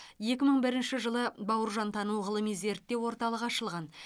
екі мың бірінші жылы бауыржантану ғылыми зерттеу орталығы ашылған